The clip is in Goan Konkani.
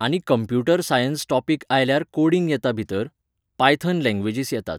आनी कंप्यूटर सायन्स टोपिक आयल्यार कोडिंग येता भितर, पायथन लँग्वेजीस येतात.